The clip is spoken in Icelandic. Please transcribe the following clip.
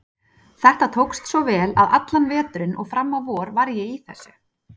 Þetta tókst svo vel að allan veturinn og fram á vor var ég í þessu.